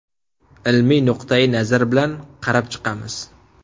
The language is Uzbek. Ilmiy nuqtai-nazar bilan qarab chiqamiz.